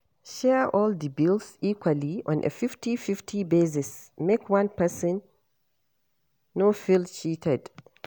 Share all di bills equally on a 50/50 basis make one person no feel cheated